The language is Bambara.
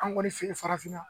An ŋɔni fe yen farafinna